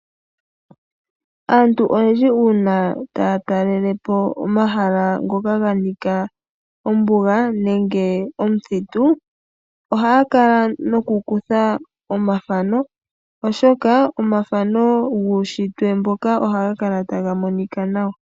Aantu oyendji uuna taya talele po omahala ngoka ga nika ombuga nenge omuthitu, ohaya kala nokukutha omathano, oshoka omathano guunshitwe mboka ohaga kala taga monika nawa.